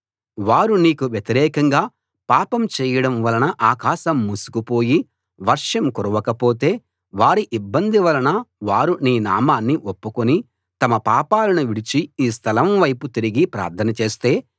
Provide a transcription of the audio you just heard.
వారు నీకు వ్యతిరేకంగా పాపం చేయడం వలన ఆకాశం మూసుకుపోయి వర్షం కురవకపోతే వారి ఇబ్బంది వలన వారు నీ నామాన్ని ఒప్పుకుని తమ పాపాలను విడిచి ఈ స్థలం వైపు తిరిగి ప్రార్థన చేస్తే